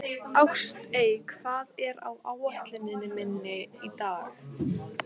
Ástey, hvað er á áætluninni minni í dag?